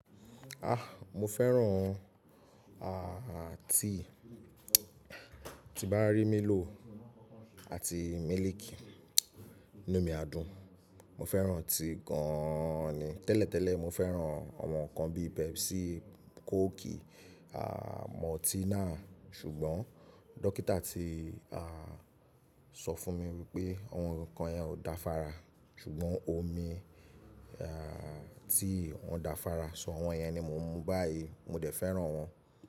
Ah! Mo fẹ́ràn àti tibárí milo àti mílìkì inú mi adùn. Mo fẹ́ràn tea gan ni. Tẹ́lẹ̀tẹ́lẹ̀ mo fẹ́ràn àwọn ǹkan bí i Pepsi, Cokie, à Multina, ṣùgbọ́n dókítà ti à sọ fún mi wípé àwon ǹkan yẹn ò da fára ṣùgbọ́n omi à tea wọ́n dáa fára. So, àwọn yẹn ni mò ń mu báyìí, mo dẹ̀ fẹ́ràn wọ́n.